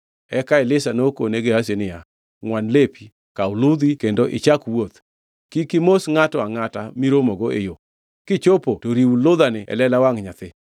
Eka Elisha nokone Gehazi niya, “Ngʼwan lepi, kaw ludha kendo ichak wuoth. Kik imos ngʼato angʼata miromogo e yo. Kichopo to iriw ludhani e lela wangʼ nyathi.”